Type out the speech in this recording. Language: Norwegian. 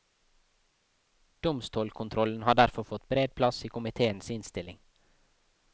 Domstolkontrollen har derfor fått bred plass i komiteens innstilling.